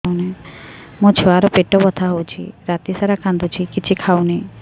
ମୋ ଛୁଆ ର ପେଟ ବଥା ହଉଚି ରାତିସାରା କାନ୍ଦୁଚି କିଛି ଖାଉନି